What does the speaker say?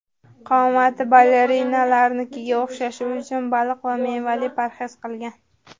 Qomati balerinalarnikiga o‘xshashi uchun baliq va mevali parhez qilgan.